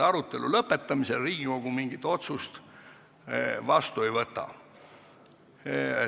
Arutelu lõpetamisel Riigikogu mingit otsust vastu ei võta.